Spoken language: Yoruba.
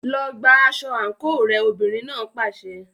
Lọ gba aṣọ àǹkóò rẹ, obìnrin náà pàṣẹ.